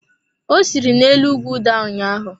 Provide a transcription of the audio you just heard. Ọ siri na-elu ugwu daa ụnyaahụ.